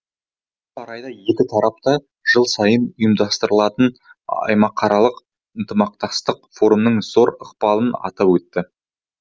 осы орайда екі тарап та жыл сайын ұйымдастырылатын аймақаралық ынтымақтастық форумының зор ықпалын атап өтті